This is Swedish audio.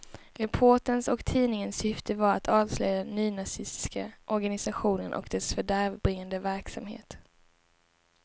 Reporterns och tidningens syfte var att avslöja den nynazistiska organisationen och dess fördärvbringande verksamhet.